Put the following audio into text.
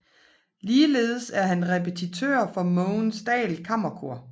Ligeledes er han repetitør for Mogens Dahl Kammerkor